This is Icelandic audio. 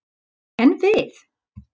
En við?